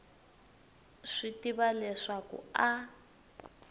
swi tiva leswaku a a